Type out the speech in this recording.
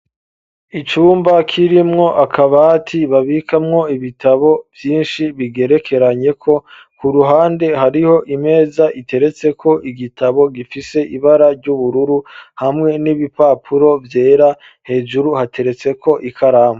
Icumba kirimwo akabati babikamwo ibitabo vyinshi bigerekeranyeko, ku ruhande hariho imeza iteretseko igitabo gifise ibara ry'ubururu hamwe n'ibipapuro vyera ,hejuru hateretseko ikaramu.